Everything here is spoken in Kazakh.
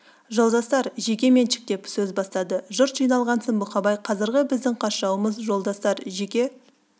жолдастар жеке меншік деп сөз бастады жұрт жиналғасын бұқабай қазіргі біздің қас жауымыз жолдастар жеке